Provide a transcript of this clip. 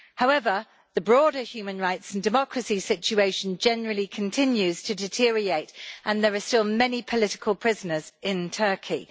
However, the broader human rights and democracy situation generally continues to deteriorate, and there are still many political prisoners in Turkey.